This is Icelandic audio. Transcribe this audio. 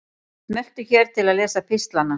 Smelltu hér til að lesa pistlana